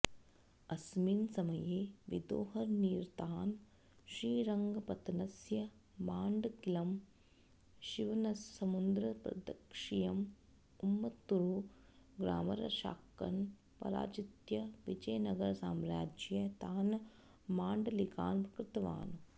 अस्मिन् समये विदोहनिरतान् श्रीरङ्गपत्तनस्य माण्डल्किम् शिवनसमुद्रप्रद्शीयम् उम्मत्तूरु ग्रामरक्षाकान् पराजित्य विजयनगरसाम्राज्ये तान् माण्डलिकान् कृतवान्